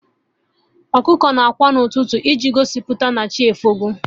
Ọkụkọ na ákwà n'ụtụtụ iji gosipụta na chi efogo